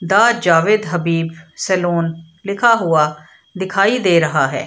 The Javed Habib salon लिखा हुआ दिखाई दे रहा है।